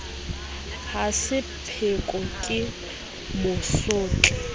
ha se pheko ke mosotli